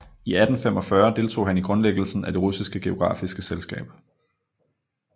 I 1845 deltog han i grundlæggelsen af det russiske geografiske selskab